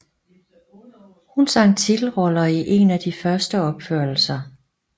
Hun sang titelrollen i en af de første opførelser